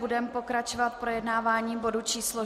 Budeme pokračovat projednáváním bodu číslo